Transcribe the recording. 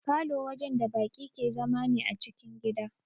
Falow wajen da baki ke zama ne a cikin gida